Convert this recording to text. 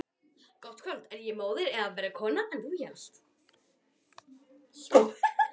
Er ég móðir eða verri kona en þú hélst?